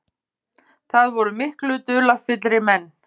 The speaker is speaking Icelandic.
Það voru miklu dularfyllri menn.